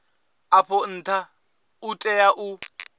afho ntha u tea u